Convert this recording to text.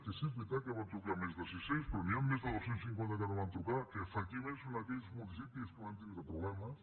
que sí és veritat que en van trucar a més de sis cents però n’hi han més de dos cents i cinquanta als quals no van trucar que efectivament són aquells municipis que van tindre problemes